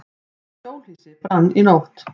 Hjólhýsi brann í nótt